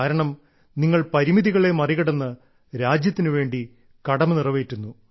കാരണം നിങ്ങൾ പരിമിതികളെ മറികടന്ന് രാജ്യത്തിന് വേണ്ടി കടമ നിറവേറ്റുന്നു